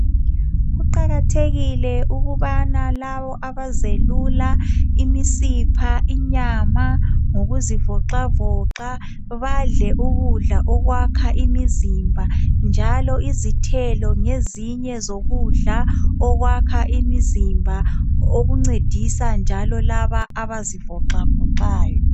Kuqakathekile ukuba labo abazelula imidipha, inyama ngokuzivoxavoxa badle ukudla okwakha imizimba. Njalo izithelo ngezinye ukudla okwakha umizimba okuncedisa labo abazivoxavoxayo